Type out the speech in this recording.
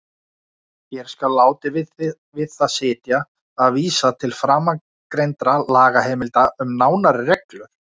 Hér skal látið við það sitja að vísa til framangreindra lagaheimilda um nánari reglur.